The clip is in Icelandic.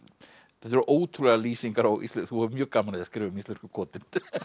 þetta eru ótrúlegar lýsingar þú hefur mjög gaman af að skrifa um íslensku kotin